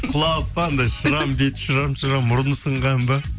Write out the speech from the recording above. құлап па анандай шрам беті шрам шрам мұрны сынған ба